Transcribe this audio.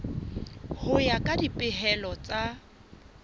ho ya ka dipehelo tsa